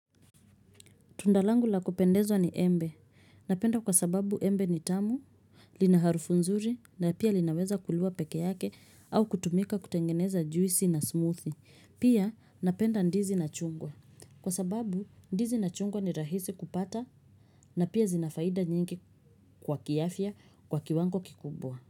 Tunda langu la kupendezwa ni embe. Napenda kwa sababu embe ni tamu, lina harufu nzuri na pia linaweza kuliwa peke yake au kutumika kutengeneza juisi na smoothie. Pia napenda ndizi na chungwa. Kwa sababu ndizi na chungwa ni rahisi kupata na pia zina faida nyingi kwa kiafya kwa kiwango kikubwa.